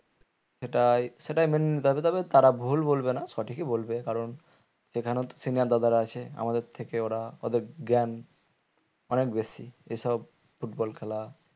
সেটাই সেটাই মেনে নিতে হবে তাদের তারা ভুল বলবে না সঠিকই বলবে কারণ সেখানে তো senior দাদারা আছে আমাদের থেকে ওরা ওদের জ্ঞান অনেক বেশি এসব football খেলা